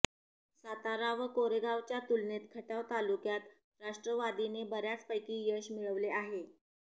सातारा व कोरेगावच्या तुलनेत खटाव तालुक्यात राष्ट्रवादीने बऱ्यापैकी यश मिळवले आहे